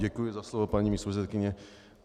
Děkuji za slovo, paní místopředsedkyně.